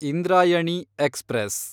Indrayani express